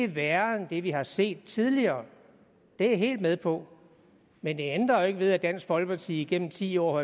værre end det vi har set tidligere det er jeg helt med på men det ændrer jo ikke ved at dansk folkeparti igennem ti år